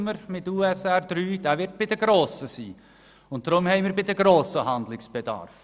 In Anbetracht der USR III wissen wir, dass der Handlungsbedarf bei den Grossen sein wird.